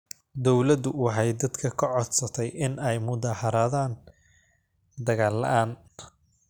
Dawladdu waxay dadka ka codsatay in ay mudaaxaradan dagaal la’aan